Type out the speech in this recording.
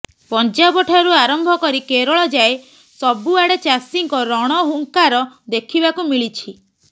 ପଞ୍ଜାବ ଠାରୁ ଆରମ୍ଭ କରି କେରଳ ଯାଏ ସବୁଆଡ଼େ ଚାଷୀଙ୍କ ରଣହୁଙ୍କାର ଦେଖିବାକୁ ମିଳିଛି